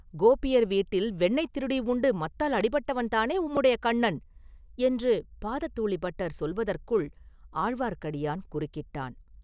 கோபியர் வீட்டில் வெண்ணெய் திருடி உண்டு மத்தால் அடிபட்டவன்தானே உம்முடைய கண்ணன்!…” என்று பாததூளிபட்டர் சொல்வதற்குள், ஆழ்வார்க்கடியான் குறுக்கிட்டான்.